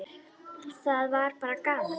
Það var bara gaman!